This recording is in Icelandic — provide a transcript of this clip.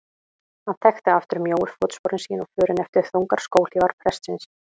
Hann þekkti aftur mjóu fótsporin sín og förin eftir þungar skóhlífar prestsins.